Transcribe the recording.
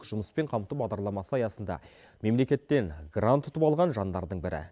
жұмыспен қамту бағдарламасы аясында мемлекеттен грант ұтып алған жандардың бірі